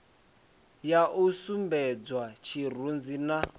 ya u sumbedzwa tshirunzi na